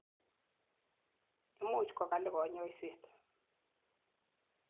Imuch ko kali kanyoiset.